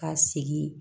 Ka sigi